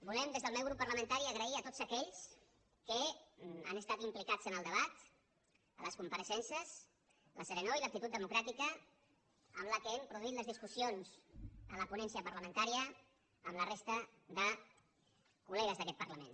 volem des del meu grup parlamentari agrair a tots aquells que han estat implicats en el debat a les compareixences la serenor i l’actitud democràtica amb què hem produït les discussions en la ponència parlamentària amb la resta de col·legues d’aquest parlament